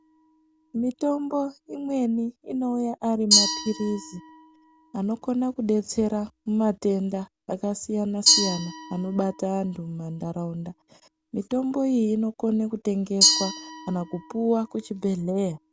Mitombo imweni inouya ari mapilisi, anokona kudetsera mumatenda akasiyana-siyana, anobata antu mumantaraunta, mitombo iyi inokone kutengeswa kana kupuwa kuchibhedhleya.